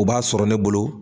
U b'a sɔrɔ ne bolo.